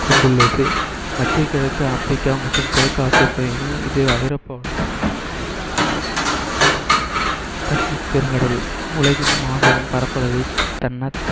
கொண்டுள்ளது மத்திய கிழக்கு ஆப்பிரிக்கா மற்றும் கிழக்கு ஆசிய பகுதிகளில் இது ஐரோப்பாவுடன் இணைந்தது பசிபிக் பெருங்கடல் உலகின் மாபெரும் பரப்பளவை தன்னார்~